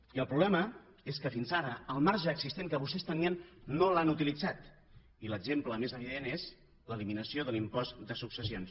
i el problema és que fins ara el marge existent que vostès tenien no l’han utilitzat i l’exemple més evident és l’eliminació de l’impost de successions